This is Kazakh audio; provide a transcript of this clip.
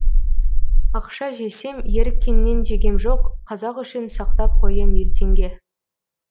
ақша жесем еріккеннен жегем жоқ қазақ үшін сақтап қоям ертеңге